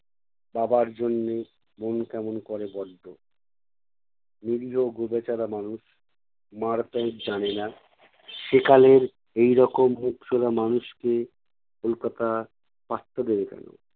বাবার জন্যে মন কেমন করে বড্ড। নিরীহ গোবেচারা মানুষ মার প্যাঁচ জানে না। সেকালের এইরকম মুখচোরা মানুষকে কলকাতা পাত্তা দেবে কেনো?